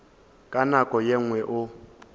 ka nako ye nngwe o